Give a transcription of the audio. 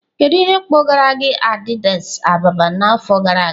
Kedu ihe kpọgara gị Addis Ababa n'afọ gara aga?